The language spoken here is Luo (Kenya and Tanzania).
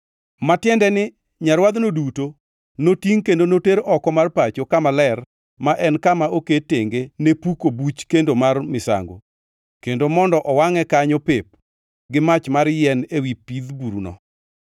ma tiende ni nyarwadhno duto, notingʼ kendo noter oko mar pacho kama ler ma en kama oket tenge ne puko buch kendo mar misango, kendo mondo owangʼe kanyo pep gi mach mar yien ewi pidh buruno.